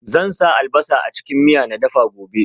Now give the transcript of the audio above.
Zan sa albasa a cikin miya na dafa gobe